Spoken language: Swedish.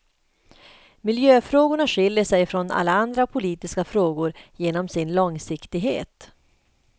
Miljöfrågorna skiljer sig från alla andra politiska frågor genom sin långsiktighet.